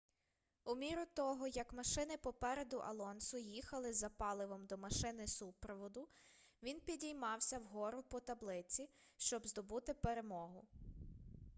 у міру того як машини попереду алонсо їхали за паливом до машини супроводу він підіймався вгору по таблиці щоб здобути перемогу